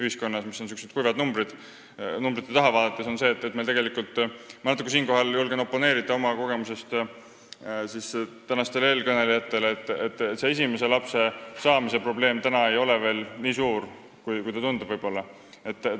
Nii et numbrid on kurvad, aga nende taha vaadates ma julgen siinkohal oma kogemuse põhjal natuke oponeerida tänastele eelkõnelejatele: esimese lapse saamise probleem ei ole veel nii suur, kui see võib-olla tundub.